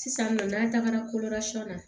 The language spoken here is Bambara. Sisannɔ n'an tagara na